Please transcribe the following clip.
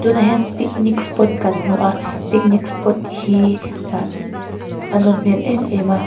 tunah hian picnic spot kan hmu a picnic spot hi ah a nawm hmel em em a.